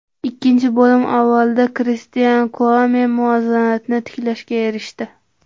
Ikkinchi bo‘lim avvalida Kristian Kuame muvozanatni tiklashga erishdi.